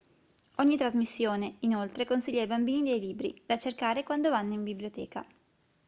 ogni trasmissione inoltre consiglia ai bambini dei libri da cercare quando vanno in biblioteca